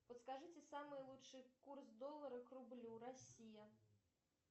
подскажите самый лучший курс доллара к рублю россия